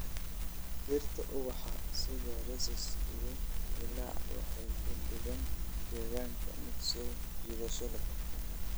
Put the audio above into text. Dhirta ubaxa sida roses iyo lilac waxay ka dhigaan deegaanka mid soo jiidasho leh.